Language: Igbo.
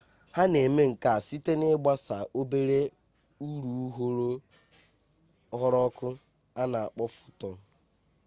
ha na-eme nkea site na-ịgbasa obere urughuru ọkụ a na akpọ fotọn